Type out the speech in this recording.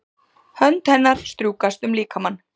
Hönd hennar strjúkast um líkamann.